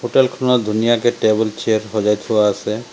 Hotel খনত ধুনীয়াকে table chair সজাই থোৱা আছে।